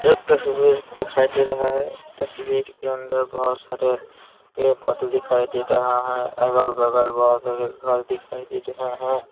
एक तस्वीर दिखाई दे रहा है तस्वीर के अंदर बहुत सारे पेड़ पौधे दिखाई दे रहा है अगल-बगल बहुत सारे घर दिखाई दे रहे है ।